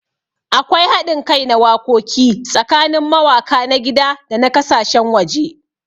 Akwai haɗin kai na wakoki tsakanin mawaka na gida da na kasashen waje.